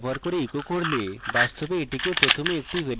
বাস্তবে এটিকে প্রথমে একটি ভ্যরিয়েবলে set করা প্রয়োজন